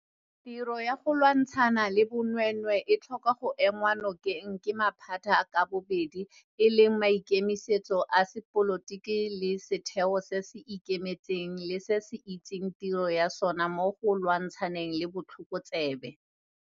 Tiro ya go lwantshana le bonweenwee e tlhoka go enngwa nokeng ke maphata ka bobedi e leng maikemisetso a sepolotiki le setheo se se ikemetseng le se se itseng tiro ya sona mo go lwantshaneng le botlhokotsebe.